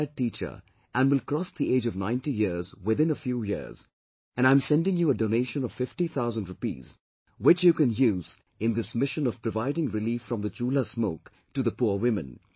I am a retired teacher and will cross the age of 90 years within a few years and I am sending you a donation of fifty thousand rupees which you can use in this mission of providing relief from the Chulha smoke to the poor women